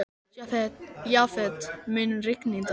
Jafet, mun rigna í dag?